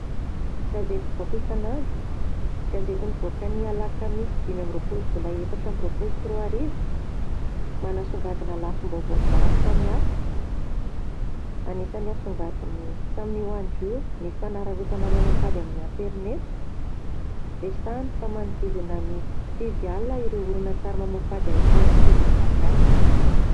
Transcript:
Gazety mpivoaka isanandro, gazety nivoaka ny alakamisy dimy amby roapolo jolay, efatra amby roapolo sy roa arivo, manasongadina lafim- baovao maro samihafa. Anisany nasongadiny tamin'io andro io ny fanararaotana mamoha fady tamin'ny aterineto : resahiny fa manodidina ny sivy alina ireo horonan- tsary mamoha fady ahitana ankizy malagasy.